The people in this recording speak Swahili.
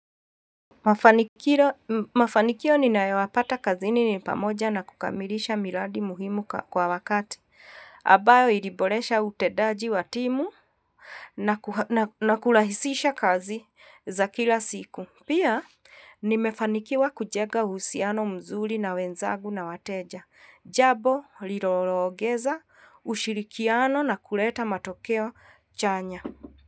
Mafanikio ninayopata kazini nipamoja na kukamilisha miladi muhimu kwa wakati. Ambayo iliboresha utendaji watimu na kulahisisha kazi za kila siku. Pia ni mefanikiwa kujenga uhusiano mzuli na wenzagu na wateja. Jambo, liloongeza, ushirikiano na kuleta matokeo chanya.